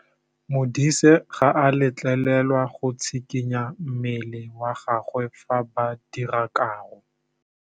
Modise ga a letlelelwa go tshikinya mmele wa gagwe fa ba dira karô.